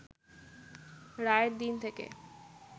রায়ের দিন থেকে